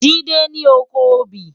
Jide ni ókó óbì